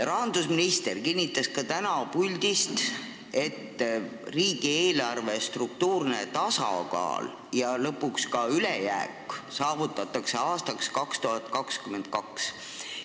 Rahandusminister kinnitas ka täna siit puldist, et riigieelarve struktuurne tasakaal ja lõpuks ka ülejääk saavutatakse aastaks 2022.